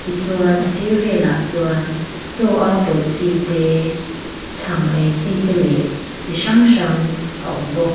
ti chuan a sir velah chuan chaw a pawlh chi te chhang ei chi te leh chi hrang hrang a awm bawk.